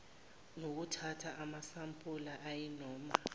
nokuthatha amasampula ayinoma